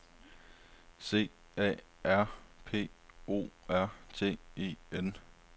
C A R P O R T E N